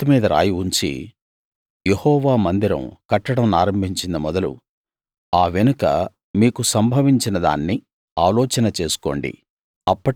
ఈ రాతి మీద రాయి ఉంచి యెహోవా మందిరం కట్టనారంభించింది మొదలు ఆ వెనుక మీకు సంభవించినదాన్ని ఆలోచన చేసుకోండి